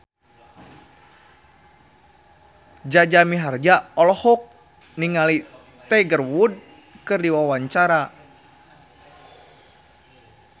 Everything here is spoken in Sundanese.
Jaja Mihardja olohok ningali Tiger Wood keur diwawancara